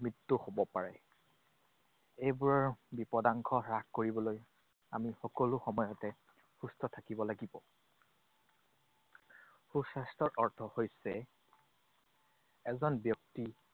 মৃত্যুও হব পাৰে। এইবোৰৰ বিপদাংশ হ্ৰাস কৰিবলৈ আমি সকলো সময়তে সুস্থ থাকিব লাগিব। সুস্বাস্থ্যৰ অৰ্থ হৈছে এজন ব্যক্তি